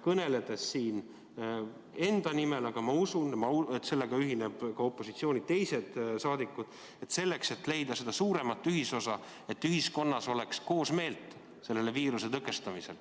kõneledes siin enda nimel, aga ma usun, et sellega ühinevad ka opositsiooni teised saadikud –, selleks, et leida suuremat ühisosa, et ühiskonnas oleks koosmeelt viiruse tõkestamisel.